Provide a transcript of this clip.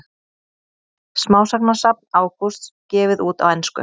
Smásagnasafn Ágústs gefið út á ensku